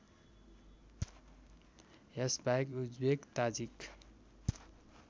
यसबाहेक Uzbek Tajik